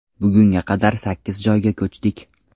Bugunga qadar sakkiz joyga ko‘chdik.